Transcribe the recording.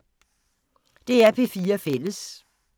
DR P4 Fælles